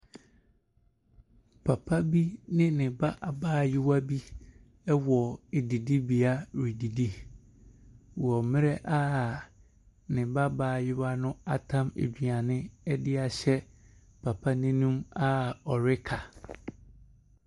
Papa bi ne ne ba abaayewa bi ɛwɔ ɛdidibea redidi wɔ mmrɛ a ne ba abaayewa no atam aduane ɛdeahyɛ papa n'anum a ɔreka.